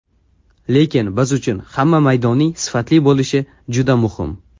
Lekin biz uchun ham maydonning sifatli bo‘lishi juda muhim.